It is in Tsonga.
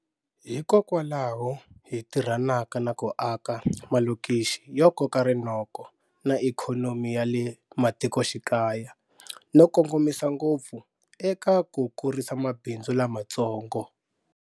Hikokwalaho hi tirhanaka na ku aka malokixi yo koka rinoko na ikhonomi ya le matikoxikaya, no kongomisa ngopfu eka ku kurisa mabindzu lamatsongo.